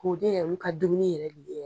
Ko olu ka dumuni yɛrɛ de ye